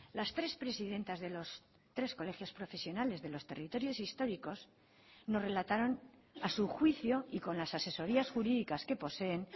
las tres presidentas de los tres colegios profesionales de los territorios históricos nos relataron a su juicio y con las asesorías jurídicas que poseen